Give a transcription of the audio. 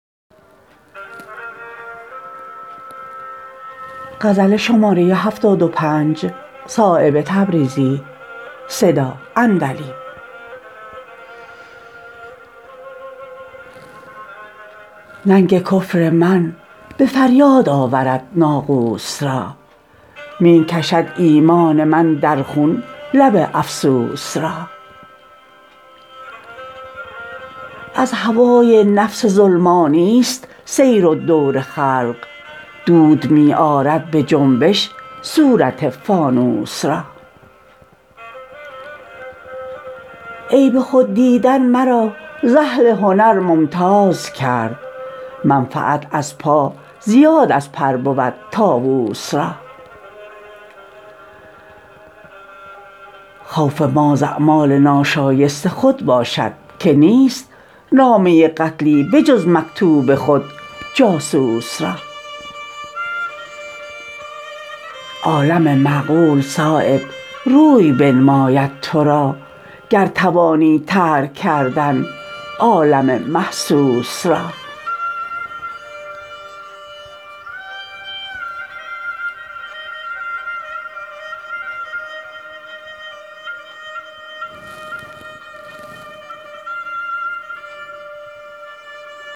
ننگ کفر من به فریاد آورد ناقوس را می کشد ایمان من در خون لب افسوس را از هوای نفس ظلمانی است سیر و دور خلق دود می آرد به جنبش صورت فانوس را عیب خود دیدن مرا ز اهل هنر ممتاز کرد منفعت از پا زیاد از پر بود طاوس را خوف ما ز اعمال ناشایست خود باشد که نیست نامه قتلی به جز مکتوب خود جاسوس را عالم معقول صایب روی بنماید ترا گر توانی ترک کردن عالم محسوس را